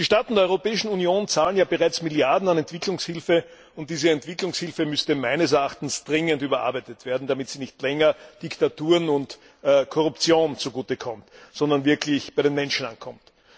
Die Staaten der Europäischen Union zahlen ja bereits Milliarden an Entwicklungshilfe und diese Entwicklungshilfe, müsste meines Erachtens dringend überarbeitet werden, damit sie nicht länger Diktaturen und der Korruption zugute kommt, sondern wirklich bei den Menschen ankommt.